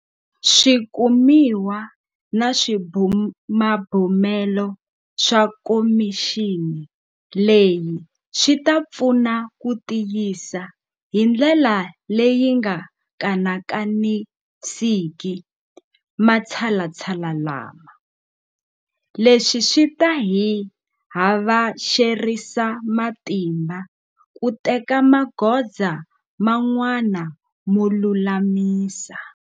Swikumiwa na swibumabumelo swa khomixini leyi swi ta pfuna ku tiyisa hi ndlela leyi nga kanakanisiki matshalatshala lama. Leswi swi ta hi havexerisa matimba ku teka magoza man'wana mo lulamisa.